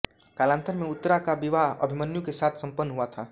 कालान्तर में उत्तरा का विवाह अभिमन्यु के साथ सम्पन्न हुआ था